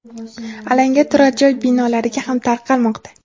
alanga turar-joy binolariga ham tarqalmoqda.